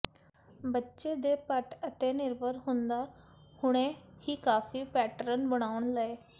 ਬੱਚੇ ਦੇ ਪਟ ਅਤੇ ਨਿਰਭਰ ਹੁੰਦਾ ਹੁਣੇ ਹੀ ਕਾਫ਼ੀ ਪੈਟਰਨ ਬਣਾਉਣ ਲਈ